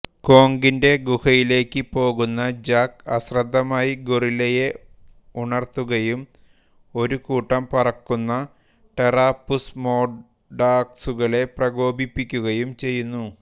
കോംഗിന്റെ ഗുഹയിലേക്ക് പോകുന്ന ജാക്ക് അശ്രദ്ധമായി ഗോറില്ലയെ ഉണർത്തുകയും ഒരുകൂട്ടം പറക്കുന്ന ടെറാപുസ്മോർഡാക്സുകളെ പ്രകോപിപ്പിക്കുകയും ചെയ്യുന്നു